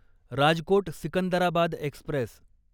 Rajkot Secunderabad Express